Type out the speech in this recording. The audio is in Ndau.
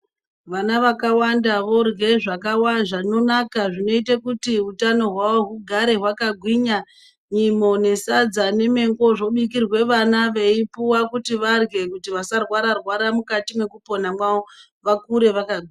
Vana vakawanda vorye zvakawanda zvinonaka zvinoite kuti utano hwavo hug are hwakagwinya nyimo nesadza nemango zvobikirwe vana veipuwa kuti varye vasarwara rwara mukati mekupona mavo vakure vakagwinya .